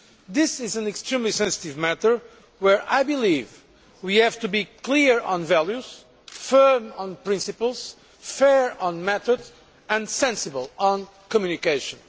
This is an extremely sensitive matter, where I believe we have to be clear on values, firm on principles, fair on method and sensible on communication.